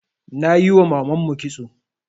Nayiwa mamanmu kitso